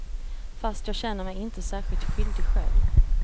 Fast jag känner mig inte särskilt skyldig själv.